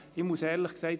Ich muss ehrlich sagen: